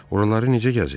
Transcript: Yaxşı, oraları necə gəzir?